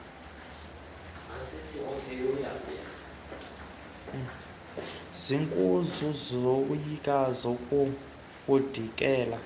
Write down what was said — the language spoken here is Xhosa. zinkulu ukuzoyisa kuzawudingeka